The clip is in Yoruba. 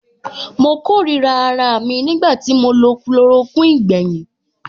Mo kórìíra araà mi nígbà tí mo lo chloroquine gbẹ̀yìn.